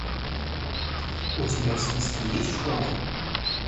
у тебя в списке есть школа